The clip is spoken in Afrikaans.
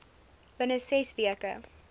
binne ses weke